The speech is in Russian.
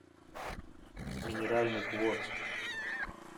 минеральных вод